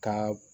Ka